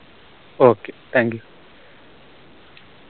okay thank you